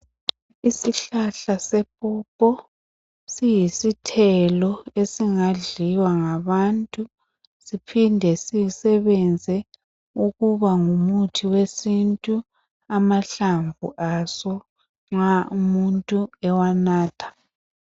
Isihlahla sepopo siyisithelo esingadliwa ngabantu siphinde sisebenze ukuba ngumuthi wesintu amahlamvu aso nxa umuntu ewanatha.